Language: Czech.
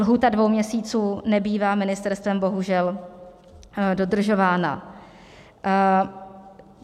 Lhůta dvou měsíců nebývá ministerstvem bohužel dodržována.